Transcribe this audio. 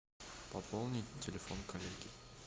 пополнить телефон коллеги